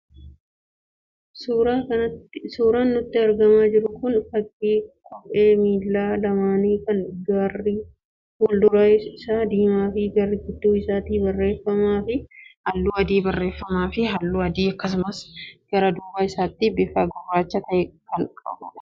Suuraan nutti argamaa jiru kun, fakii kophee miilla lamaanii kan garri fuul-dura isaa diimaa fi gara gidduu isaatti barreeffamaa fi halluu adii akkasumas gara duuba isaatti bifa gurraacha ta'een kan qophaa'edha.